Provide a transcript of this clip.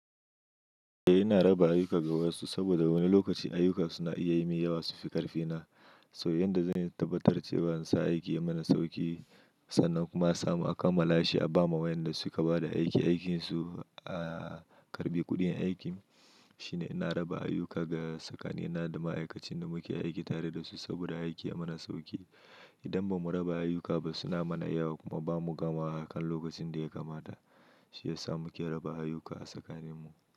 Eh ina raba ayyuka ga wasu saboda wani lokaci ayuka suna iya yi min yawa su fi ƙarfi na. So yanda zan yi tabbatar cewa in sa aiki ya mana sauƙi sannan kuma a samu a kammala shi a ba ma wa'yanda su ka bada aiki aikin su a karɓi kuɗin aikin. Shi ne ina raba ayuka ga sakanina da ma'aikacin da muke aiki tare da su saboda aiki ya mana sauƙi. Idan ba mu raba ayuka ba suna mana yawa kuma ba mu gama wa a kan lokacin da ya kamata. Shi ya sa muke raba ayuka a tsakanin mu.